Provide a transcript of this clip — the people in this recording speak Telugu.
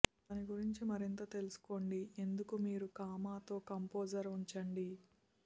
దాని గురించి మరింత తెలుసుకోండి ఎందుకు మీరు కామాతో కంపోజర్ ఉంచండి